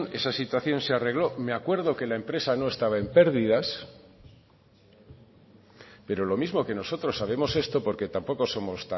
esa situación se arregló me acuerdo que la empresa no estaba en pérdidas pero lo mismo que nosotros sabemos esto porque tampoco somos